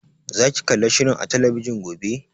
Za ki kalli shirin a talabijin gobe?